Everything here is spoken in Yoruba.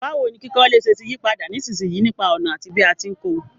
Báwoni kíkọ́lé se ti yípadà nísinsìyí nípa ònà àti bí a ti n ko